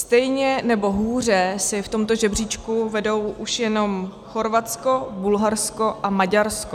Stejně nebo hůře si v tomto žebříčku vedou už jenom Chorvatsko, Bulharsko a Maďarsko.